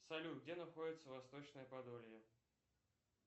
салют где находится восточное подолье